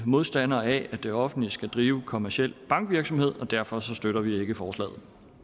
modstandere af at det offentlige skal drive kommerciel bankvirksomhed og derfor støtter vi ikke forslaget